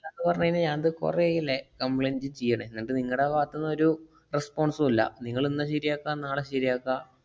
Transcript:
ന്ന് പറഞ്ഞു കയിഞ്ഞാ ഞാന്‍ ദ് കുറെയായില്ലേ complaint ചെയ്യണേ. അല്ലാണ്ട് നിങ്ങടെ ഭാഗത്ത് ന്നൊരു response ഉം ഇല്ല. നിങ്ങള് ഇന്ന് ശരിയാക്കാം നാളെ ശരിയാക്കാ